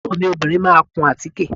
Àbúrò mi obìnrin máa kun àtíkè